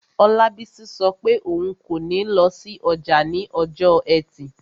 Olabisi sọ pé òun kò ní lọ sí ọjà ní ọjọ́ ẹtì